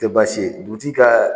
tɛ baasi ye dugutigi ka